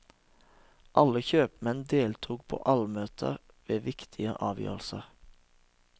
Alle kjøpmenn deltok på allmøter ved viktige avgjørelser.